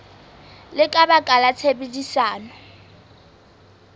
le ka baka la tshebedisano